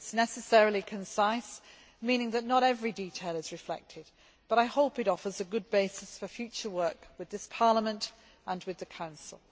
It is necessarily concise, meaning that not every detail is reflected, but I hope that it offers a good basis for future work with this Parliament and with the Council.